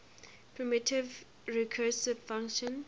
primitive recursive function